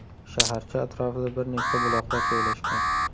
Shaharcha atrofida bir nechta buloqlar joylashgan.